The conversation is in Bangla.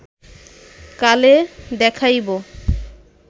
কালে দেখাইব